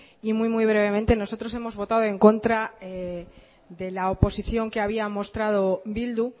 y muy muy brevemente nosotros hemos votado en contra de la oposición que había mostrado bildu